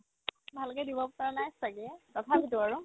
ভালকে দিব পাৰা নাই ছাগে তথাপিতো আৰু